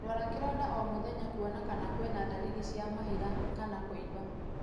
Rora kĩronda o mũthenya kuona kana kwĩ na ndariri cia mahira kana kũĩmba.